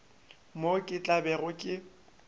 moo ke tla bego ke